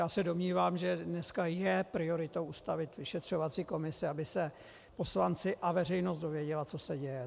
Já se domnívám, že dneska je prioritou ustavit vyšetřovací komisi, aby se poslanci a veřejnost dozvěděli, co se děje.